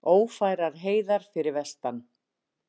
Ófærar heiðar fyrir vestan